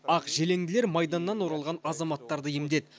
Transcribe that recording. ақ желеңділер майданнан оралған азаматтарды емдеді